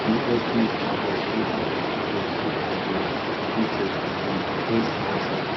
pop ha der sudu man do sudu man be hite ɗokunni Ac ha sera.